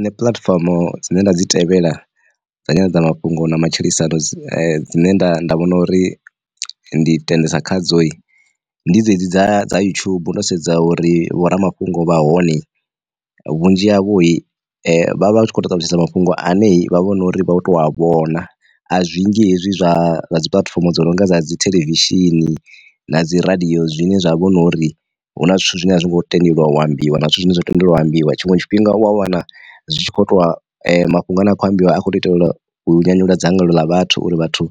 Nṋe puḽatifomo dzine nda dzi tevhela dza nyanḓadza mafhungo ya matshilisano dzine nda nda vhona uri ndi tendisea khadzoyi, ndi dzedzi dza dza yutshubu ndo sedza uri vho ramafhungo vha hone, vhunzhi havho vha vha tshi khou to ṱalutshedza mafhungo ane vha vho no uri vha vho to a vhona. A zwingi hezwi zwa dzi puḽatifomo dzo nonga dza dzi theḽevishini na dzi radio zwine zwa vhona uri huna zwithu zwine a zwi ngo tendeliwa wa ambiwa na zwithu zwine zwa tendelwa ha ambiwa, tshiṅwe tshifhinga u a wana zwi tshi kho ṱwa mafhungo ane a khou ambiwa a kho to itela nyanyulwa dzangalelo la vhathu uri vhathu